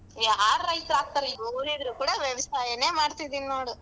ಯಾರ್ ರೈತ್ರ್ ಆಗ್ತಾರೆ ಓದಿದ್ರು ಕೂಡ ವ್ಯವಸಾಯನೇ ಮಾಡ್ತಿದೀನ್ ನೋಡು.